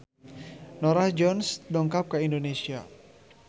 Norah Jones dongkap ka Indonesia